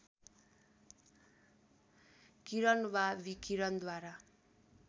किरण वा विकिरणद्वारा